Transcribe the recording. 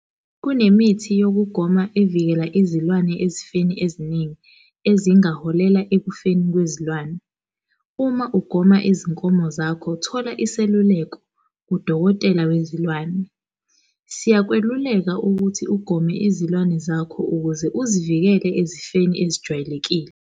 Kunemithi yokugoma evikela izilwane ezifeni eziningi ezingaholela ekufeni kwezilwane. Uma ugoma izinkomo zakho thola iseluleko kudokotela wezilwane. Siyakweluleka ukuthi ugome izilwane zakho ukuze uzivikele ezifeni ezijwayelekile.